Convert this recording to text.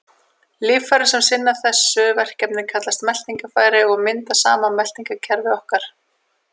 Líffærin sem sinna þessu verkefni kallast meltingarfæri og mynda saman meltingarkerfi okkar.